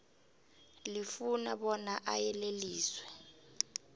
lifuna bona ayeleliswe